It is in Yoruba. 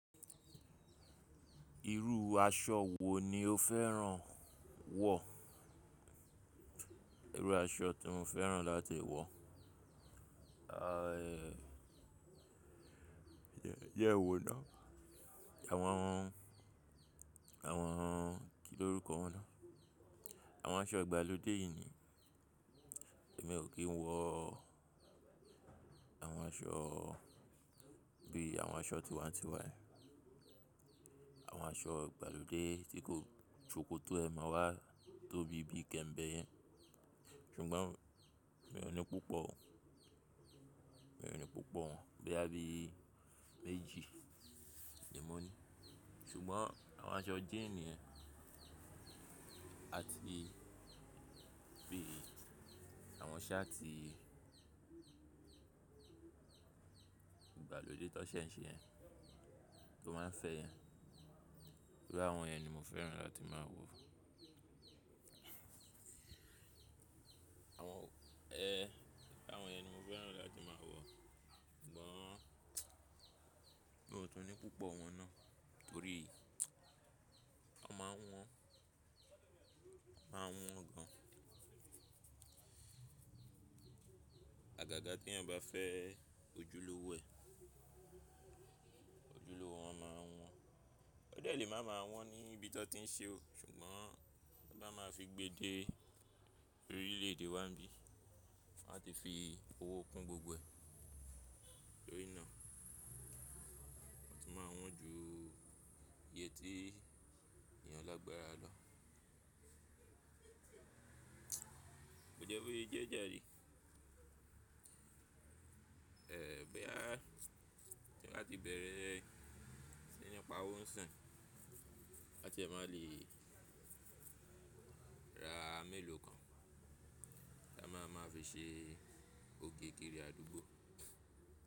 Irú aṣọ wo ni o fẹ́ràn wọ̀? Irú aṣọ tí mo fẹ́ràn láti wọ̀, eh, jẹ́n wo na? Àwọn, àwọn kí lórúkọ wọn ná? Àwọn aṣọ ìgbàlódé yìí ni. Ẹ̀mi ò kí ń wọ àwọn aṣọ bí àwọn aṣọ tiwańtiwa, àwọn aṣọ ìgbàlódé tí kò, sokòtó ẹ̀ mà wá tóbí bí i kẹ̀m̀bẹ̀ yẹn. Nígbà mi ò ní púpọ̀, mi ò ní púpọ̀ bí i àbí méjì ni mò ní. Ṣugbọn awọn aṣọ jin yẹn ati bii awọn ṣaatii igbalode tọ ṣè n ṣe yẹ̀n, to maa n fẹ yẹn, iru awọn yẹn ni mo fẹran lati maa wô àwọn, ẹhẹ, àwọn yẹn ni mo fẹ́ràn láti máa wọ̀. Ṣùgbọ́n mi ò tún ní púpọ̀ wọn náà torí ọ máa ń wọ́n, ọbmáa ń wọ́n gan. Àgàgà tí èèyàn ba fẹ́ ojúlówó ẹ̀, ojúlówó wọn máa wọ́n. O dẹ le maa maa wọn ni ibi tàn ti n ṣe o, ṣugbon tàn ba ma fi gbe de orile-ede wa n bi, wọn a ti fi owo kun gbogbo ẹ, to ri naa. Wọ́n ti máa wọn ju iye tí èèyàn lágbára lọ. Kò jẹ́ bo ye jẹ jáàre. Eh, bo yà ti n ba ti bẹ̀rẹ̀ sí ní pa owó ń sin ka ti ẹ máa le ra mélòó kan ka máa ma fi ṣe oge kiri adugbo.